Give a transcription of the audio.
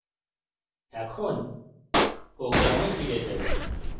এখন program ফিরে যাই